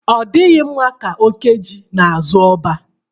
Ọ dịghị mma ike oke ji n'azụ ọba.